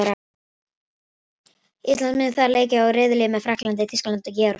Ísland mun þar leika í riðli með Frakklandi, Þýskalandi og Georgíu.